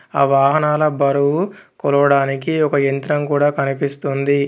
ఆ వాహనాల బరువు కొలవడానికి ఒక యంత్రం కూడా కనిపిస్తుంది.